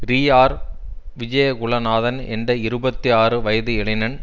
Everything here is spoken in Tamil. ரீஆர் விஜய குல நாதன் என்ற இருபத்தி ஆறு வயது இளைஞன்